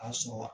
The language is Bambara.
A sɔrɔ